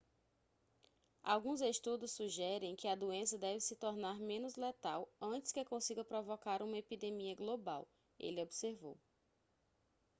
alguns estudos sugerem que a doença deve se tornar menos letal antes que consiga provocar uma epidemia global ele observou